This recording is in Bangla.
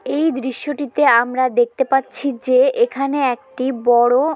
এই দৃশ্যটিতে আমরা দেখতে পাচ্ছি যে এখানে একটি বড়ো--